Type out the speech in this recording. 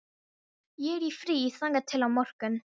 Ég er í fríi þangað til á morgun.